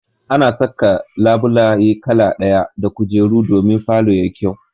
Ana saka labulaye kala ɗaya da kujeru domin falo ya yi kyau.